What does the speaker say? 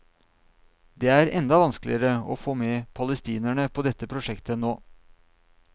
Det er enda vanskeligere å få med palestinerne på dette prosjektet nå.